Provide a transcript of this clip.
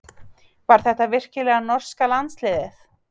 Var þetta virkilega norska landsliðið?